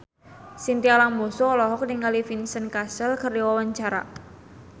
Chintya Lamusu olohok ningali Vincent Cassel keur diwawancara